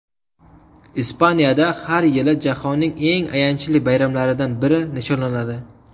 Ispaniyada har yili jahonning eng ayanchli bayramlaridan biri nishonlanadi.